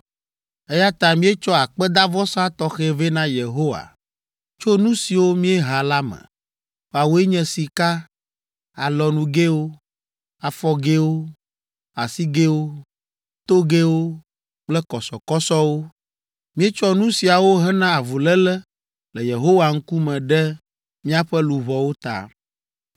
Eya ta míetsɔ akpedavɔsa tɔxɛ vɛ na Yehowa tso nu siwo míeha la me, woawoe nye sika, alɔnugɛwo, afɔgɛwo, asigɛwo, togɛwo kple kɔsɔkɔsɔwo. Míetsɔ nu siawo hena avuléle le Yehowa ŋkume ɖe míaƒe luʋɔwo ta.”